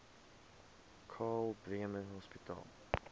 karl bremer hospitaal